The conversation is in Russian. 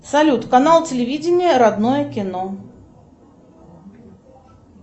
салют канал телевидения родное кино